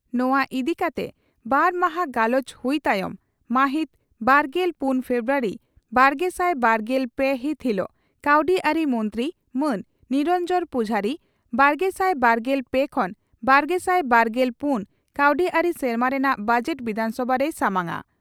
ᱱᱚᱣᱟ ᱤᱫᱤᱠᱟᱛᱮ ᱵᱟᱨ ᱢᱟᱦᱟᱸ ᱜᱟᱞᱚᱪ ᱦᱩᱭ ᱛᱟᱭᱚᱢ ᱢᱟᱦᱤᱛ ᱵᱟᱨᱜᱮᱞ ᱯᱩᱱ ᱯᱷᱮᱵᱨᱩᱣᱟᱨᱤ ᱵᱟᱨᱜᱮᱥᱟᱭ ᱵᱟᱨᱜᱮᱞ ᱯᱮ ᱦᱤᱛ ᱦᱤᱞᱚᱜ ᱠᱟᱹᱣᱰᱤᱟᱹᱨᱤ ᱢᱚᱱᱛᱨᱤ ᱢᱟᱱ ᱱᱤᱨᱚᱱᱡᱚᱱ ᱯᱩᱡᱷᱟᱨᱤ ᱵᱟᱨᱜᱮᱥᱟᱭ ᱵᱟᱨᱜᱮᱞ ᱯᱮ ᱠᱷᱚᱱ ᱵᱟᱨᱜᱮᱥᱟᱭ ᱵᱟᱨᱜᱮᱞ ᱯᱩᱱ ᱠᱟᱹᱣᱰᱤᱟᱹᱨᱤ ᱥᱮᱨᱢᱟ ᱨᱮᱱᱟᱜ ᱵᱚᱡᱮᱴ ᱵᱤᱫᱷᱟᱱ ᱥᱚᱵᱷᱟ ᱨᱮᱭ ᱥᱟᱢᱟᱝᱟ ᱾